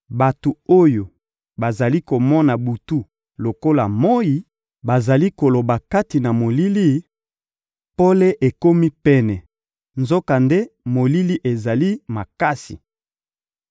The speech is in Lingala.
Bato oyo bazali komona butu lokola moyi bazali koloba kati na molili: ‹Pole ekomi pene,› nzokande molili ezali makasi.